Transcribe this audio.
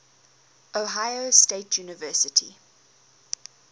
ohio state university